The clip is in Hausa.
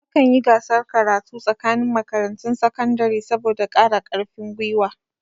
Akan yi gasar karatu tsakanin makarantun sakandare. saboda kara karfin gwiwa